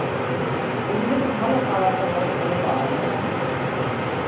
ও ওইদিকে তো ভালো খাবার-দাবারও ভালো পাওয়া যায় না, কাকু